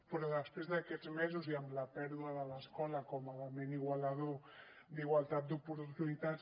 però després d’aquests mesos i amb la pèrdua de l’escola com a element igualador d’igualtat d’oportunitats